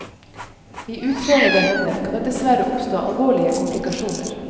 I utrenede hender kan det dessverre oppstå alvorlige komplikasjoner.